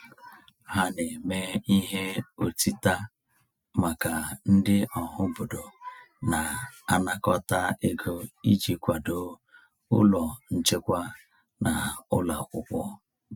Ha na-eme ihe ọtịta maka ndị ọhaobodo na-anakọta ego iji kwado ụlọ nchekwa na ụlọ akwụkwọ.